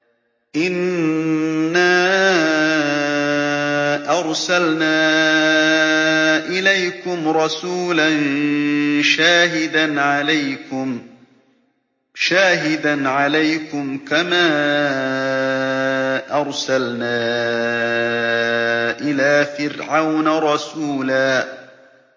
إِنَّا أَرْسَلْنَا إِلَيْكُمْ رَسُولًا شَاهِدًا عَلَيْكُمْ كَمَا أَرْسَلْنَا إِلَىٰ فِرْعَوْنَ رَسُولًا